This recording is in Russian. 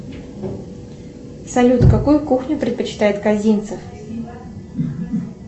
салют какую кухню предпочитает казинцев